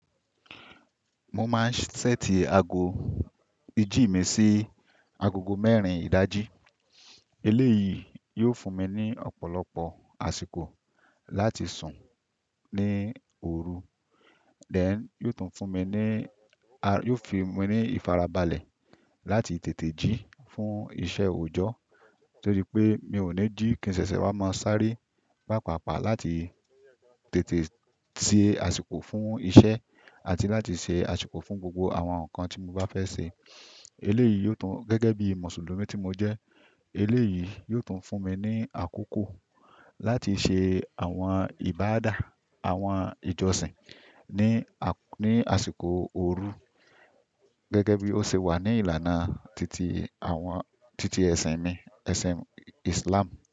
Mo máa ń ṣẹ́ẹ̀tì aago ìjí mi sí agogo mẹ́rin ìdájí. Eléyìí yóò fún mi ní ọ̀pọ̀lọpọ̀ àsìkò láti sùn ní òru. Then yóò tún fún mi ní, a-- yóò fi mí ní ìfarabalẹ̀ láti tètè jí fún iṣẹ́ òjọ́ torí pé mi ò ní jí kí n ṣẹ̀ṣẹ̀ wá máa sáré pàápàápàá láti tètè ṣe àsìkò fún iṣẹ́ àti láti ṣe àsìkò fún gbogbo àwọn nǹkan tí mo bá fẹ́ ṣe. Eléyìí yóò tún gẹ́gẹ́ bí Mùsùlùmí tí mo jẹ́ eléyìí yóò tún fún mi ní àkókò láti ṣe àwọn ìbádá àwọn ìjọsìn ní, ní àsìkò òru gẹ́gẹ́ bí ó ṣe wà ní ìlànà titi àwọn, titi ẹ̀sìn mi, ẹ̀sìn Islam.